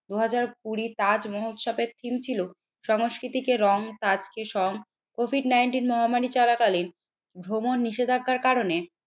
দুই হাজার কুড়ি তাজ মহোৎসবের থিম ছিল সংস্কৃতিকে রং সাজকে সং কোভিড নাইনটিন মহামারী চলাকালীন ভ্রমণ নিষেধাজ্ঞার কারণে